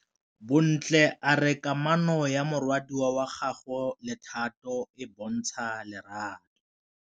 Bontle a re kamanô ya morwadi wa gagwe le Thato e bontsha lerato.